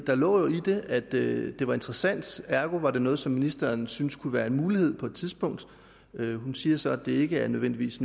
der lå jo i det at det det var interessant ergo var det noget som ministeren synes kunne være en mulighed på et tidspunkt hun siger så at det ikke nødvendigvis